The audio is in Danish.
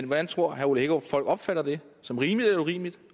hvordan tror herre ole hækkerup folk opfatter det som rimeligt eller urimeligt